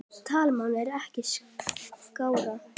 Talmál er ekki skárra.